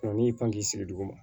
n'i y'i pan k'i sigi duguma